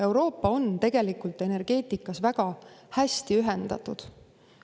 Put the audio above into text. Euroopa on tegelikult energeetikas väga hästi ühendatud.